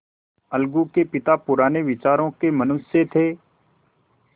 अलगू के पिता पुराने विचारों के मनुष्य थे